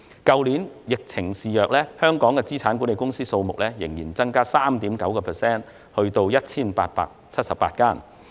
去年疫情肆虐，香港的資產管理公司數目仍增加 3.9% 至 1,878 間。